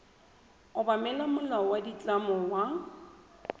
obamela molao wa ditlamo wa